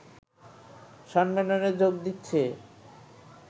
সম্মেলনে যোগ দিচ্ছে